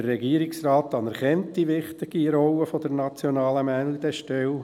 Der Regierungsrat anerkennt die wichtige Rolle der nationalen Meldestelle.